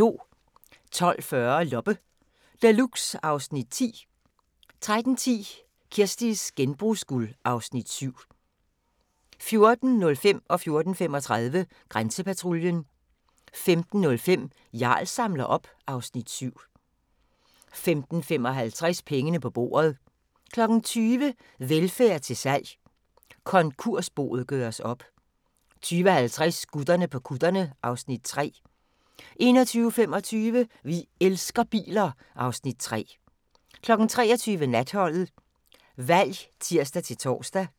12:40: Loppe Deluxe (Afs. 10) 13:10: Kirsties genbrugsguld (Afs. 7) 14:05: Grænsepatruljen 14:35: Grænsepatruljen 15:05: Jarl samler op (Afs. 7) 15:55: Pengene på bordet 20:00: Velfærd til salg – konkursboet gøres op 20:50: Gutterne på kutterne (Afs. 3) 21:25: Vi elsker biler (Afs. 3) 23:00: Natholdet Valg (tir-tor)